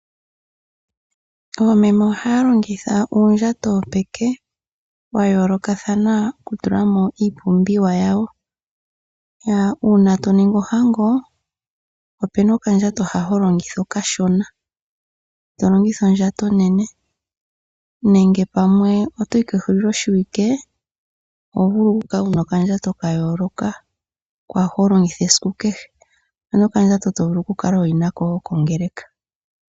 Oomeme ohaya longitha uundjato wopeke wa yoolokathana okutula mo iipumbiwa yawo. Uuna to ningi ohango opu na okandjato hoka ho longitha okashona, ito longitha ondjato onene nenge uuna to yi kehuliloshiwike oho vulu okukala wu na okandjato ka yooloka kwa hoka ho longitha esiku kehe. Opu na okandjato to vulu okukala ho yi nako kongeleka.